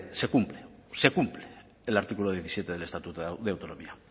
se cumple se cumple el artículo diecisiete del estatuto de autonomía